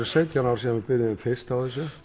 sautján ár síðan við byrjuðum fyrst á þessu